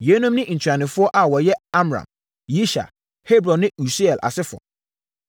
Yeinom ne ntuanofoɔ a wɔyɛ Amram, Yishar, Hebron ne Usiel asefoɔ.